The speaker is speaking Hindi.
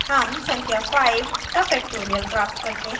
हम संख्या 5 का factorial प्राप्त करते हैं